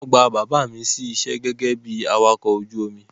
Wọ́n gba bàbá mi sí iṣẹ́ gẹ́gẹ́ bi awakọ̀ ojú omi.